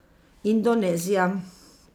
Indonezija.